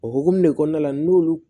O hukumu de kɔnɔna na n'olu